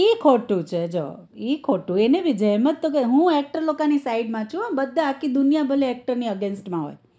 એ ખોટું છે જો એ ખોટું અની જે એમજ હું actor લોકો ની side માસુ બધા આખી દુનિયા ભલે actor લોકો ની against માં હોય